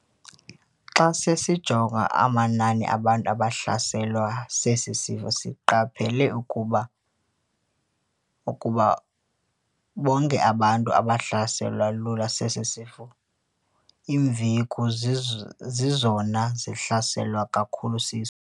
"Xa besijonga amanani abantu abahlaselwe sesi sifo, siqaphele ukuba bonke abantu abahlaseleka lula sesi sifo, iimveku zizo zizona zihlaselwa kakhulu siso."